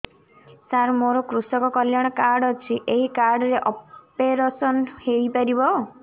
ସାର ମୋର କୃଷକ କଲ୍ୟାଣ କାର୍ଡ ଅଛି ଏହି କାର୍ଡ ରେ ଅପେରସନ ହେଇପାରିବ